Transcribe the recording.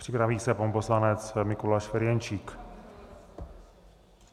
Připraví se pan poslanec Mikuláš Ferjenčík.